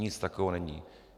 Nic takového není.